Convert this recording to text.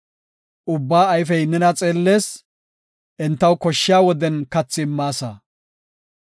Ubbaa ayfey nena xeellees; entaw koshshiya woden kathi immaasa.